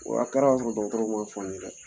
W'a kɛ ra ka sɔrɔ dɔgɔtɔrɔw ma f'an ye dɛ